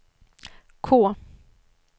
K